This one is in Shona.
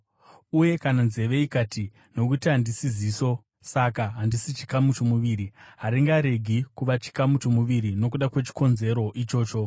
Uye kana nenzeve ikati, “Nokuti handisi ziso, saka handisi chikamu chomuviri,” haringaregi kuva chikamu chomuviri nokuda kwechikonzero ichocho.